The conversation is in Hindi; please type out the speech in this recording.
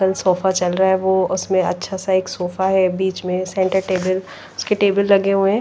सोफा चल रहा है वो उसमें अच्छा सा एक सोफा है बीच में सेंटर टेबल उसके टेबल लगे हुए हैं।